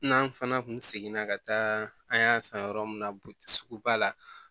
N'an fana kun seginna ka taa an y'a san yɔrɔ min na suguba la